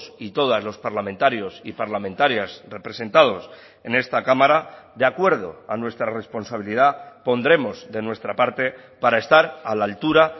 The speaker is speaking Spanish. y todas los parlamentarios y parlamentarias representados en esta cámara de acuerdo a nuestra responsabilidad pondremos de nuestra parte para estar a la altura